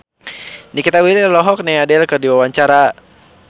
Nikita Willy olohok ningali Adele keur diwawancara